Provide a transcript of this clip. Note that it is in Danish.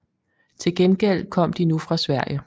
Til gengæld kom de nu fra Sverige